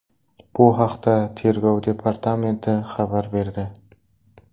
Bu haqda Tergov departamenti xabar berdi .